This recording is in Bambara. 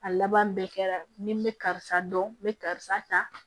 A laban bɛɛ kɛra ni n bɛ karisa dɔn n bɛ karisa ta